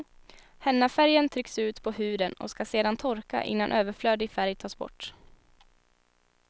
Hennafärgen trycks ut på huden och ska sedan torka innan överflödig färg tas bort.